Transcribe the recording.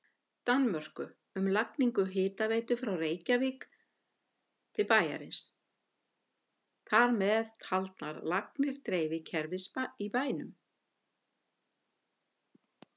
Danmörku um lagningu hitaveitu frá Reykjum til bæjarins, þar með taldar lagnir dreifikerfis í bænum.